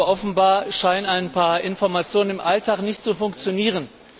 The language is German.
Offenbar scheinen ein paar Informationen im Alltag jedoch nicht zu funktionieren.